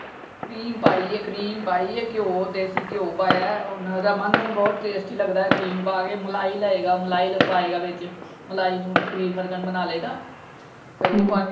Cream ਪਾਈ ਏ cream ਪਾਈ ਏ। ਘਿਓ ਦੇਸੀ ਘਿਓ ਪਾਇਆ ਹੈ। ਓਹਨੂੰ ਰਮਨ ਨੂੰ ਬਹੁਤ tasty ਲੱਗਦਾ ਹੈ ਕਰੀਮ ਪਾ ਕੇ ਮਲਾਈ ਲਏਗਾ ਮਲਾਈ ਪਾਏਗਾ ਵਿਚ। ਮਲਾਈ ਨੂੰ ਕਰੀਮ ਵਰਗਾ ਬਣਾ ਲਏਗਾ। ਫੇਰ ਉਹ ਪਾ ਕੇ।